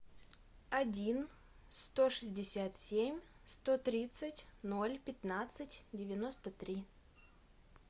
один сто шестьдесят семь сто тридцать ноль пятнадцать девяносто три